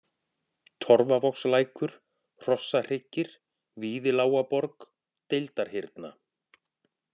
Torfavogslækur, Hrossahryggir, Víðilágaborg, Deildarhyrna